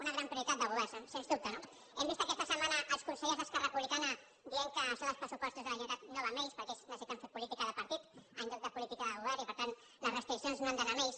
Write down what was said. una gran prioritat de govern sens dubte no hem vist aquesta setmana els consellers d’esquerra republicana dient que això dels pressupostos de la generalitat no va amb ells perquè ells necessiten fer política de partit en lloc de política de govern i per tant les restriccions no han d’anar amb ells